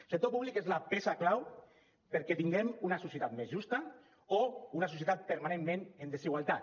el sector públic és la peça clau perquè tinguem una societat més justa o una societat permanentment en desigualtat